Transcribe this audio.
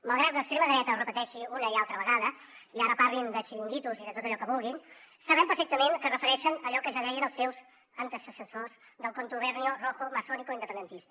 malgrat que l’extrema dreta ho repeteixi una i altra vegada i ara parlin de xiringuitos i de tot allò que vulguin sabem perfectament que es refereixen a allò que ja deien els seus antecessors del contubernio rojo masónico independentista